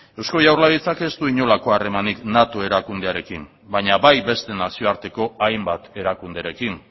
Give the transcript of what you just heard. eusko jaurlaritzak ez du inolako harremanik nato erakundearekin baina bai beste nazioarteko hainbat erakunderekin